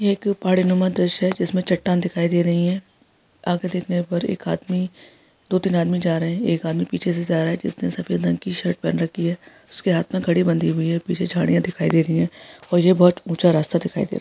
एक पहाड़ी नामा दृश्य है जिसमें चट्टान दिखाई दे रही है आगे देखने पर एक आदमी दो तीन आदमी जा रहे है एक आदमी पीछे से जा रहा है जिसने सफेद रंग की शर्ट पहन रखी है उसके हाथ में घड़ी बधी हुई है पीछे झाड़िया दिखाई दे रही है और ये बहुत ऊचा रास्ता दिखाई दे रहा है।